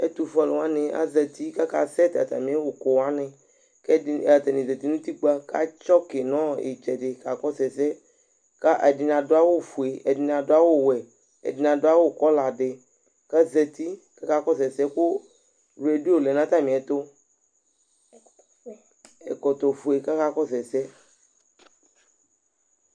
Ɛtʊ fʊé alʊwanɩ azati ka aka sɛt atami ʊkʊ wanɩ Kʊ atanɩ zati nʊ ụtikpa Kă atsɔkɩ nɔ itsɛdɩ ka kɔsʊ ɛsɛ Ka ɛdɩnɩ adʊ awʊ fʊé, ɛdɩnɩ adʊ awʊ wʊɛ ɛdɩnɩ adawʊ kɔladɩ Ka azatɩ ka aka kɔsʊ ɛsɛ Kʊ radio lɛna atamɩɛtʊ, ɛkɔtɔ fʊé ka aka kɔsʊ ɛsɛ